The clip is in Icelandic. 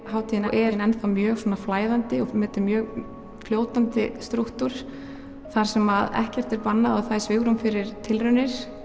hátíðin enn mjög svona flæðandi og þetta er mjög fljótandi strúktúr þar sem ekkert er bannað og það er svigrúm fyrir tilraunir